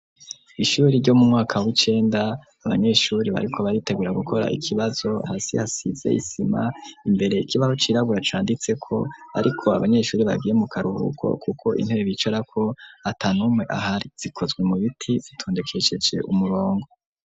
Ishure ryo mu mwaka w'icenda abanyeshure bariko baritegura gukora ikibazo, hasi hasize isima, imbere ikibazo c'irabura canditse ko ariko abanyeshuri bagiye mu karuruko kuko intebe bicara ko atanume ahari, zikozwe mu biti bitondekecece umurongo.